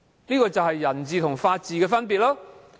這便是人治和法治的分別。